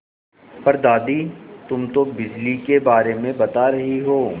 पर दादी तुम तो बिजली के बारे में बता रही हो